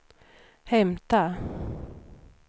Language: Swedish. hämta